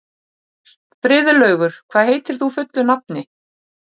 Friðlaugur, hvað heitir þú fullu nafni?